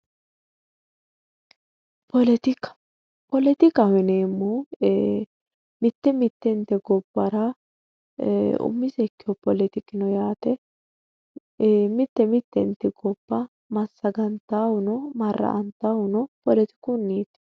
Poletika poletikaho yineemmohu mitte mittente gobbara eee umise poletiki no yaate e'e mitte mittenti gobba massagantawohuno marra''antannohuno isinniiti